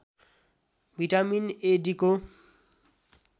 vitamin A डीको